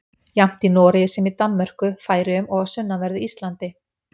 Jafnt í Noregi sem í Danmörku, Færeyjum og á sunnanverðu Íslandi.